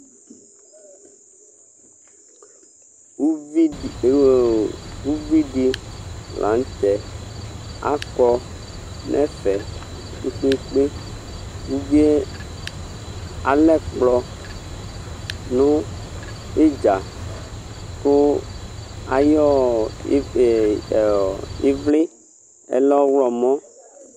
Uvidi la nu tɛ akɔ nɛfɛ kpekpe uvie alɛ ɛkplɔ idza ku ayɔ ivli ɔlɛ ɔɣlomɔ